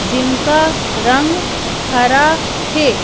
जिनका रंग हरा है।